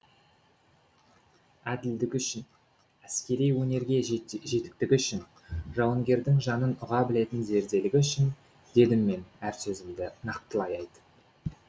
әділдігі үшін әскери өнерге жетіктігі үшін жауынгердің жанын ұға білетін зерделілігі үшін дедім мен әр сөзімді нақтылай айтып